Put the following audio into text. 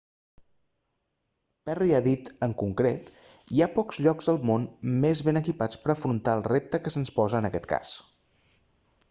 perry ha dit en concret hi ha pocs llocs al món més ben equipats per a afrontar el repte que se'ns posa en aquest cas